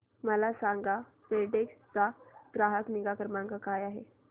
मला सांगा फेडेक्स चा ग्राहक निगा क्रमांक काय आहे